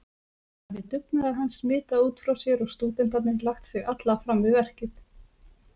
Hafi dugnaður hans smitað út frá sér og stúdentarnir lagt sig alla fram við verkið.